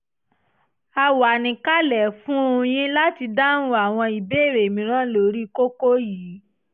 a wà níkàlẹ̀ fún un yín láti dáhùn àwọn ìbéèrè mìíràn lórí kókó yìí